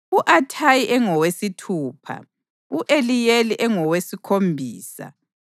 u-Athayi engowesithupha, u-Eliyeli engowesikhombisa,